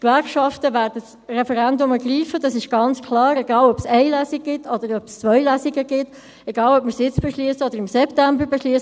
Die Gewerkschaften werden das Referendum ergreifen – das ist ganz klar –, egal ob es eine Lesung oder ob es zwei Lesungen gibt, egal ob wir es jetzt oder im September beschliessen.